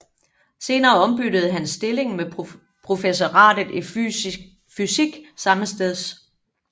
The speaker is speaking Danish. Senere ombyttede han stillingen med professoratet i fysik sammesteds